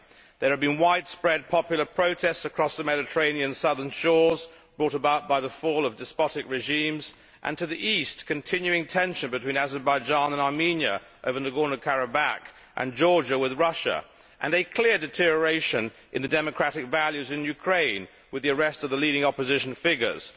There have been widespread popular protests across the Mediterranean southern shores brought about by the fall of despotic regimes, and to the east continuing tension between Azerbaijan and Armenia over Nagorno Karabakh, and Georgia with Russia, and a clear deterioration in the democratic values in Ukraine, with the arrest of the leading opposition figures.